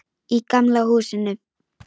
Í gamla húsinu.